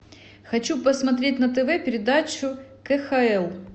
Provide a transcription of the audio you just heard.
хочу посмотреть на тв передачу кхл